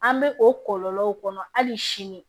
An bɛ o kɔlɔlɔw kɔnɔ hali sini